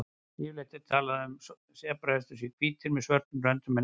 Yfirleitt er talað um að sebrahestar séu hvítir með svörtum röndum en ekki öfugt.